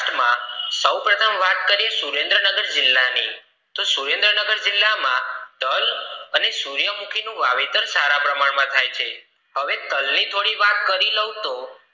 સૌ પ્રથમ વાત કરીએ સુરેન્દ્ર નગર જીલ્લા ની સુરેન્દ્ર નગર જીલ્લા માં તલ અને સુયમુખી નું વાવેતર સારા પ્રમાણ માં થાય છે હવે તલ ની થોડી વાત કરી લાવ તો